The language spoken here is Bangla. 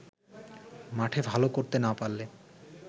মাঠে ভালো করতে না পারলে